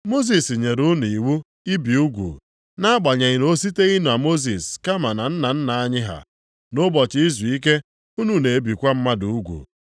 Mosis nyere unu iwu ibi ugwu (nʼagbanyeghị na o siteghị na Mosis, kama na nna nna anyị ha), nʼụbọchị izuike unu na-ebikwa mmadụ ugwu.